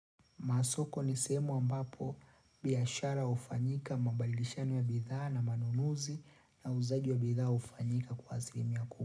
Masoko nisehemu ambapo biashara hufanyika mambadilishano ya bidhaa na manunuzi na uuzaji ya bidhaa hufanyika kwa asiilimia kubwa.